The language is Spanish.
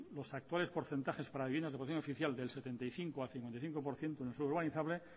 los actuales porcentajes para vivienda de protección oficial del setenta y cinco al cincuenta y cinco por ciento en suelo urbanizable